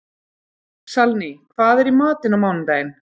Salný, hvað er í matinn á mánudaginn?